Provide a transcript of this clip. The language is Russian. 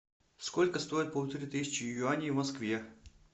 сколько стоит полторы тысячи юаней в москве